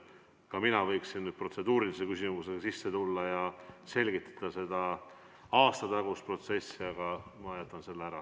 Ka mina võiksin protseduurilise küsimuse raames selgitada seda aastatagust protsessi, aga ma jätan selle ära.